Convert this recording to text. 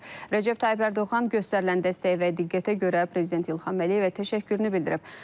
Rəcəb Tayyib Ərdoğan göstərilən dəstəyi və diqqətə görə Prezident İlham Əliyevə təşəkkürünü bildirib.